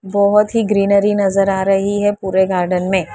बहोत ही ग्रीनरी नजर आ रही है पूरे गार्डन में --